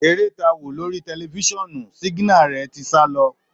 Èrè tá wo lórí tẹlifiṣionu siginare tí sá lọ.